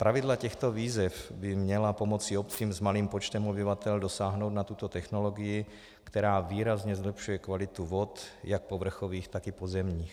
Pravidla těchto výzev by měla pomoci obcím s malým počtem obyvatel dosáhnout na tuto technologii, která výrazně zlepšuje kvalitu vod jak povrchových, tak i pozemních.